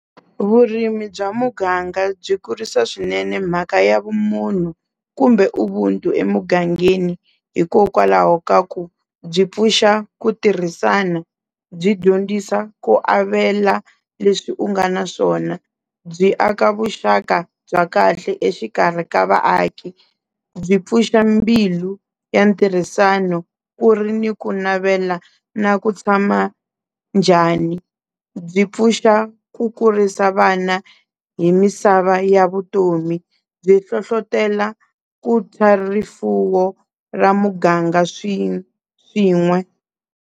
Vurimi bya muganga byi kurisa swinene mhaka ya vumunhu kumbe ubuntu emugangeni, hikokwalaho ka ku byi pfuxa ku tirhisana, byi dyondzisa ku avela leswi u nga na swona, byi aka vuxaka bya kahle exikarhi ka vaaki, byi pfuxa mbilu ya ntirhisano ku ri ni ku navela na ku tshama njhani, byi pfuxa ku kurisa vana hi misava ya vutomi byi hlohlotela rifuwo ra muganga swin'we.